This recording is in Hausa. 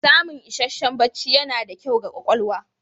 Samun isasshen bacci yana da kyau ga ƙwaƙwalwa.